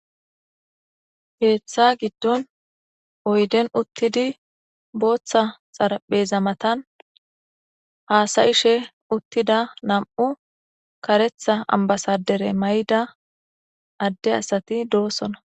Keeththa giiddon oydden uttidi booththa xaarapheza maatan hassa'she uttida nam'u kareththa ambbasadre maayidi adde assati dossona.